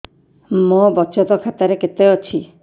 ମୋ ବଚତ ଖାତା ରେ କେତେ ଅଛି